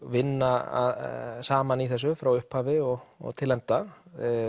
vinna saman í þessu frá upphafi og og til enda